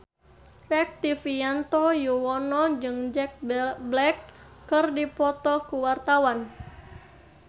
Rektivianto Yoewono jeung Jack Black keur dipoto ku wartawan